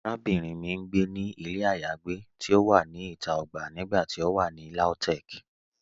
Àràbìnrin mì n gbé ní ilẹ̀ ayéagbé ti o wà ní ìtà ogbà nígbàtí o wà ní Lautech.